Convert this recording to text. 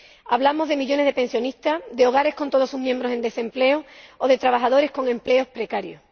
Hablamos de millones de pensionistas, de hogares con todos sus miembros en desempleo o de trabajadores con empleos precarios.